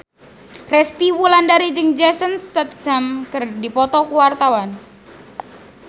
Resty Wulandari jeung Jason Statham keur dipoto ku wartawan